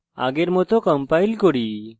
আগের মত compile করি